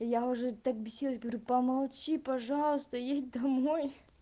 я уже так бесилась говорю помолчи пожалуйста едь домой